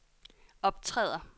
optræder